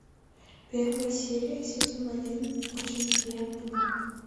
первая серия сезона один очень приятно бог